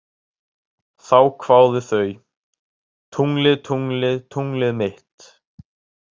Þá kváðu þau: Tunglið, tunglið, tunglið mitt